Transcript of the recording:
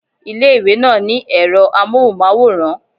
Ilé ìwé náà ní èro amóhùnmáwòrán